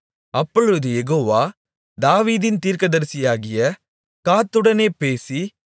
அப்பொழுது யெகோவா தாவீதின் தீர்க்கதரிசியாகிய காத்துடனே பேசி